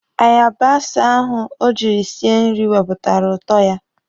Aribonsa ahụ o jiri sie nri wepụtara ụtọ ya.